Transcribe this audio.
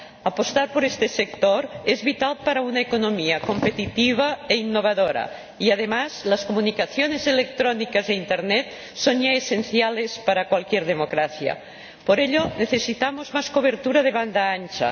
Apostar por este sector es vital para una economía competitiva e innovadora y, además, las comunicaciones electrónicas e Internet son ya esenciales para cualquier democracia. Por ello necesitamos más cobertura de banda ancha.